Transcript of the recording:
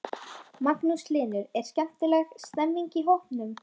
Magnús Hlynur: Er skemmtileg stemming í hópnum?